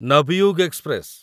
Navyug express